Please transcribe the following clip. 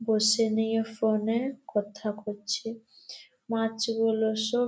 বসে নিয়ে ফোনে কথা করছে মাছগুলো সব--